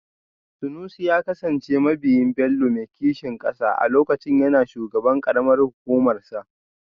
Sanusi ya kasance mabiyin Bello mai kishin kasa a lokacin yana shugaban karamar hukumarsa